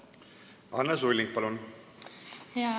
Anne Sulling, palun!